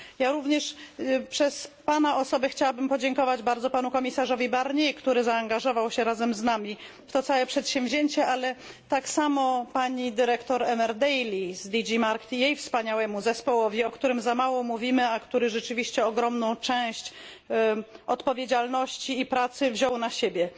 Ja również przez Pana osobę chciałabym podziękować bardzo panu komisarzowi Barnier, który zaangażował się razem z nami w to przedsięwzięcie, ale tak samo pani dyrektor Emer Daly z DG Markt B, wspaniałemu zespołowi, o którym za mało mówimy, a który rzeczywiście ogromną część odpowiedzialności i pracy wziął na siebie.